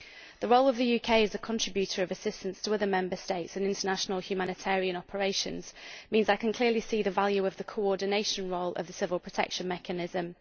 The role of the UK as a contributor of assistance to other Member States and international humanitarian operations means I can clearly see the value of the coordination role of the civil protection mechanism.